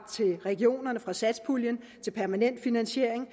til regionerne fra satspuljen til permanent finansiering